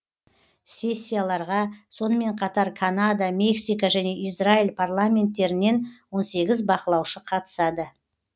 сессияларға сонымен қатар канада мексика және израиль парламенттерінен он сегіз бақылаушы қатысады